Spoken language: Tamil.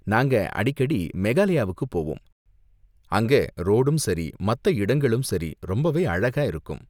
நாங்க அடிக்கடி மேகாலயாவுக்கு போவோம், அங்க ரோடும் சரி, மத்த இடங்களும் சரி ரொம்பவே அழகா இருக்கும்.